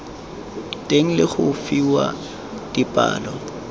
teng le go fiwa dipalo